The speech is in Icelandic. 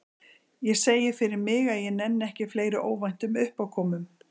Ég segi fyrir mig að ég nenni ekki fleiri óvæntum uppákomum.